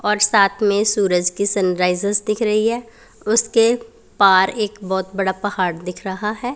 और साथ में सूरज की सनराइजर्स दिख रही है उसके पार एक बहोत बड़ा पहाड़ दिख रहा है।